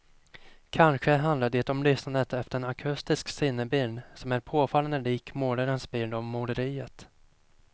Kanske handlar det om lyssnandet efter en akustisk sinnebild som är påfallande lik målarens bild av måleriet.